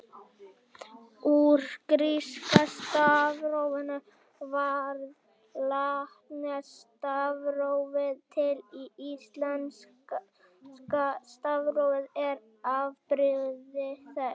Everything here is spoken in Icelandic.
Úr gríska stafrófinu varð latneska stafrófið til en íslenska stafrófið er afbrigði þess.